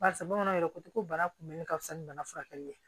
Barisa bamananw yɛrɛ ko ten ko bana kunbɛnni ka fisa ni bana furakɛli ye